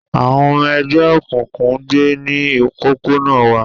Àwọn ọmọ ẹgbẹ́ òkùnkùn ń gbé ní òpópónà wa